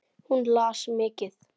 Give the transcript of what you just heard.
Hún las mikið.